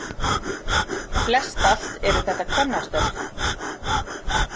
Flest allt eru þetta kvennastörf